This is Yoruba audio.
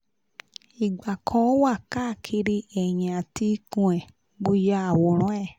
ìgbà kan o wa káàkiri ẹ̀yìn àti ikun e mo ya awran e